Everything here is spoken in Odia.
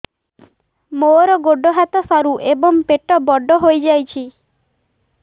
ମୋର ଗୋଡ ହାତ ସରୁ ଏବଂ ପେଟ ବଡ଼ ହୋଇଯାଇଛି